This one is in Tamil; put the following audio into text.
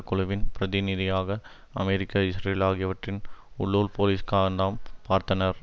குழுவின் பிரதிநிதியாக அமெரிக்கா இஸ்ரேல் ஆகியவற்றின் உள்ளூர் போலீஸ்காரனம் பார்த்தனர்